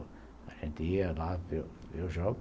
A gente ia lá ver o jogo.